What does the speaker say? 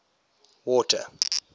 water